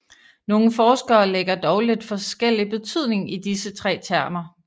Nogle forskere lægger dog lidt forskellig betydning i disse tre termer